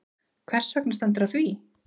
Hvers vegna stendur á því?